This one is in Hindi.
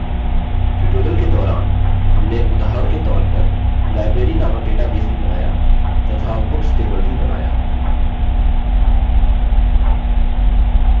tutorial के दौरान हमने उदाहरण के तौर पर library नामक database भी बनाया तथा books table भी बनाया